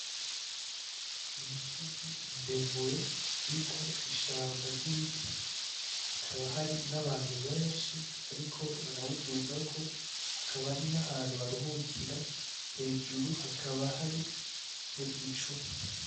Umusozi muremure uriko ishamba ry'ibiti, hakaba hari n'abantu benshi bariko barawudugako, hakaba hari n'ahantu baruhukira, hejuru hakaba hari n'igicu.